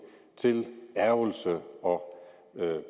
til ærgrelse og